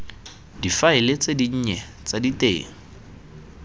difaele tse dinnye tsa diteng